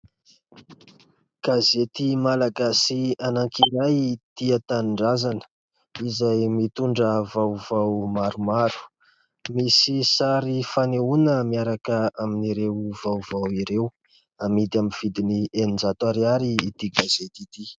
Gazety Malagasy anankiray "Tia tanindrazana" izay mitondra vaovao maromaro, misy sary fanehoana miaraka amin'ireo vaovao ireo, hamidy amin'ny vidiny eninjato ariary ity gazety ity.